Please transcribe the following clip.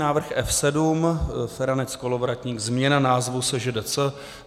Návrh F7 - Feranec, Kolovratník - změna názvu SŽDC.